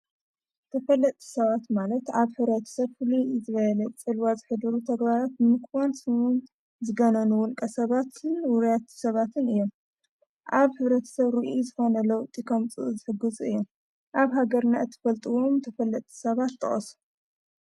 ተፈለጥ ሰባት ማለት ኣብ ሕረት ሰፍሉ እዘረኤለት ጭልዋዝ ኅድሩ ተግባላት ምክዋንስዉን ዝገነኑውን ቀሰባትን ውርያት ሰባትን እዮም ኣብ ሕረትሰብ ርኢ ዘኾነለዉ ጢከምጽእ ዘሕግፁ እዮም ኣብ ሃገርና እትፈልጥዎም ተፈለጥ ሰባት ጠወሶ።